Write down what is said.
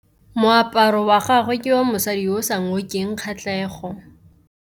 Moaparô wa gagwe ke wa mosadi yo o sa ngôkeng kgatlhegô.